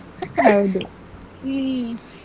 ಹೌದು ಹ್ಮ್.